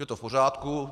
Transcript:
Je to v pořádku.